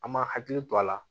An ma hakili to a la